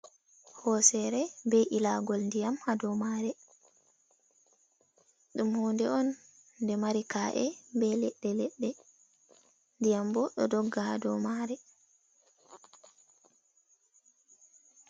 Hosere be ilagol ndiyam ha do ma're. Ɗum hude on de mari ka’e be leɗɗe 'leɗɗe ndiyam bo ɗo dogga ha do ma' re.